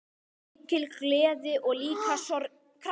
Mikil gleði og líka sorgir.